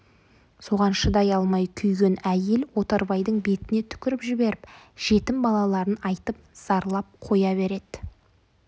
соған шыдай алмай күйген әйел отарбайдың бетіне түкіріп жіберіп жетім балаларын айтып зарлап қоя береді